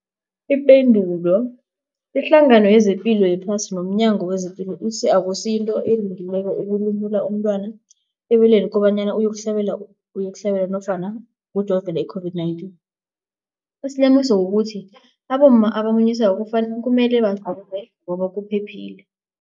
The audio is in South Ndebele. Ipendulo, iHlangano yezePilo yePhasi nomNyango wezePilo ithi akusinto elungileko ukulumula umntwana ebeleni kobanyana uyokuhlabela nofana uyokujovela i-COVID-19. Isilimukiso kukuthi abomma abamunyisako kumele bajove ngoba kuphephile.